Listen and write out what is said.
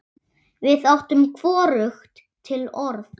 Við áttum hvorugt til orð.